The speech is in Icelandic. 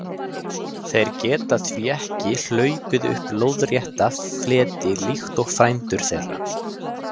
Þeir geta því ekki hlaupið upp lóðrétta fleti líkt og frændur þeirra.